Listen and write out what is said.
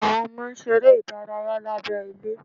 Àwọn ọmọ ń ṣeré ìdárayá lábẹ́ ilé